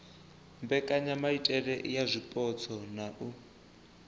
mbekanyamaitele ya zwipotso na u